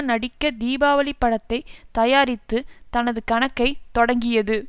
நடிக்க தீபாவளி படத்தை தயாரித்து தனது கணக்கை தொடங்கியது